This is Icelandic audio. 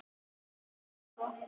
Brands þáttur örva